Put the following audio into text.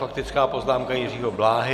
Faktická poznámka Jiřího Bláhy.